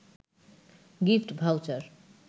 gift voucher